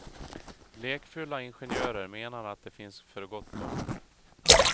Lekfulla ingenjörer menar han att det finns för gott om.